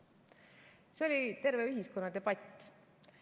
See oli terve ühiskonna debatt.